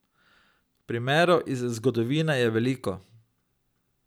Primerov iz zgodovine je veliko.